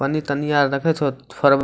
पन्नी-तन्नी आर देखेह छो --